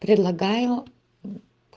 предлагаю